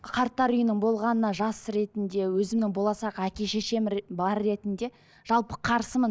қарттар үйінің болғанына жас ретінде өзімнің болашақ әке шешем бар ретінде жалпы қарсымын